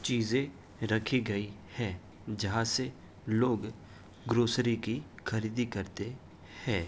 चीजे रखी गई है। जहाँ से लोग ग्रोसरी की खरीदी करते है।